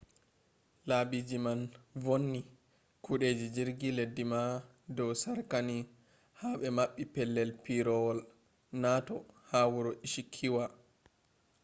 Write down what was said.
laabiji man vonnii kudeeji jirgi leddii ma dow sarkanii ha be maɓɓi pelell piiroowol noto ha wuro ishikawa